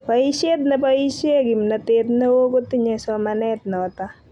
boishiet neboishe kimnatet neo kotinye somanet noto